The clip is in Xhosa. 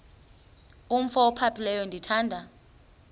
umf ophaphileyo ndithanda